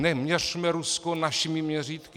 Neměřme Rusko našimi měřítky.